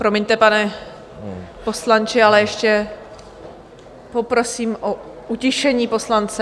Promiňte, pane poslanče, ale ještě poprosím o utišení poslance.